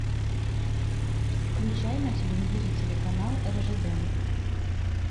включай на телевизоре телеканал ржд